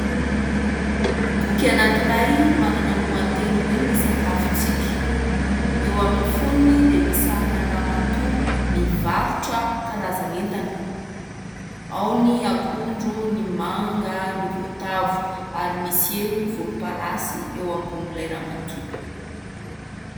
Boky anankiray manana lohateny hoe "Ny sakafontsika". Eo amin'ny fonony dia misy sarina ramatoa mivarotra karazan'entana : ao ny akondro, ny manga, ny voatavo ary misy elo volomparasy eo ambonin'ilay ramatoa.